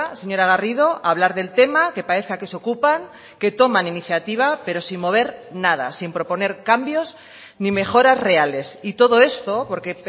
señora garrido hablar del tema que parezca que se ocupan que toman iniciativa pero sin mover nada sin proponer cambios ni mejoras reales y todo esto porque